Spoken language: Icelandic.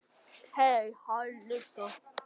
Það lægir.